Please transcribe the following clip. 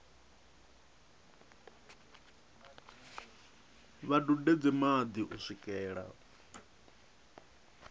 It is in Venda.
vha dudedze madi u swikela